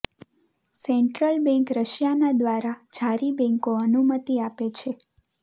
central bank રશિયાના દ્વારા જારી બેન્કો અનુમતિ આપે છે